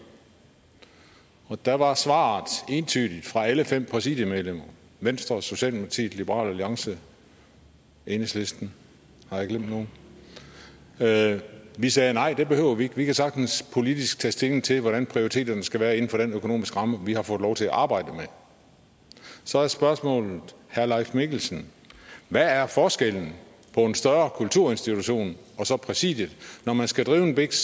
der var svaret entydigt fra alle fem præsidiemedlemmer venstre socialdemokratiet liberal alliance enhedslisten har jeg glemt nogen at vi sagde nej det behøver vi ikke vi kan sagtens politisk tage stilling til hvordan prioriteterne skal være inden for den økonomiske ramme vi har fået lov til at arbejde med så er spørgsmålet herre leif mikkelsen hvad er forskellen på en større kulturinstitution og så præsidiet når man skal drive en biks